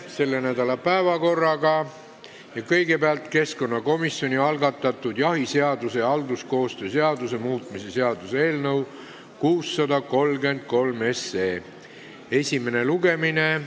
Selle nädala kolmapäevases päevakorras on kõigepealt keskkonnakomisjoni algatatud jahiseaduse ja halduskoostöö seaduse muutmise seaduse eelnõu 633 esimene lugemine.